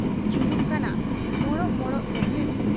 ᱡᱩᱞᱩᱜ ᱠᱟᱱᱟ ᱢᱚᱸᱰᱚᱜ ᱢᱚᱸᱰᱚᱜ ᱥᱮᱸᱜᱮᱞ ᱾